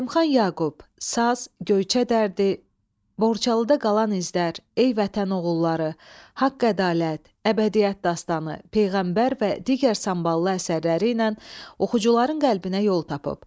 Zəlimxan Yaqub saz, Göyçə dərdi, Borçalıda qalan izlər, Ey Vətən oğulları, Haqq-ədalət, Əbədilik dastanı, Peyğəmbər və digər samballı əsərləri ilə oxucuların qəlbinə yol tapıb.